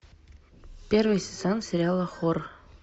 первый сезон сериала хор